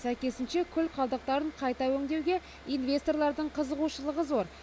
сәйкесінше күл қалдықтарын қайта өңдеуге инвесторлардың қызығушылығы зор